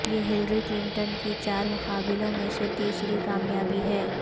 یہ Hillary Clinton کی چار مقابلوں میں سے تیسری کامیابی ہے